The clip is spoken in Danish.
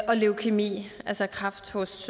og leukæmi altså kræft hos